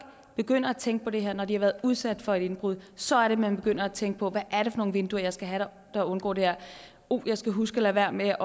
begynder at tænke på det her når de har været udsat for indbrud så er det at man begynder at tænke på hvad er det for nogle vinduer jeg skal have jeg undgår det her og uh jeg skal huske at lade være med